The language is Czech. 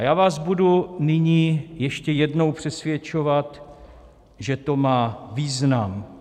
A já vás budu nyní ještě jednou přesvědčovat, že to má význam.